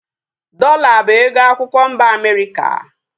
Dọola bụ ego akwụkwọ mba Amerịka